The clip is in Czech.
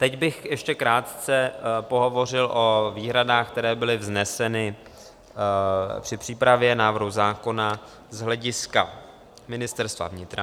Teď bych ještě krátce pohovořil o výhradách, které byly vzneseny při přípravě návrhu zákona z hlediska Ministerstva vnitra.